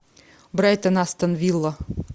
брайтон астон вилла